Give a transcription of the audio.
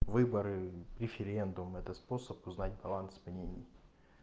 выборы референдум это способ узнать баланс по ней